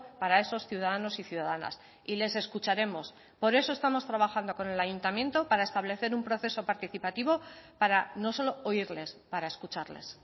para esos ciudadanos y ciudadanas y les escucharemos por eso estamos trabajando con el ayuntamiento para establecer un proceso participativo para no solo oírles para escucharles